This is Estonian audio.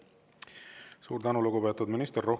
Suur tänu, lugupeetud minister!